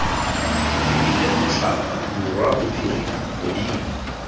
lebile botlhaba borwa bophirima godimo